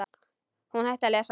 Hún hætti að lesa.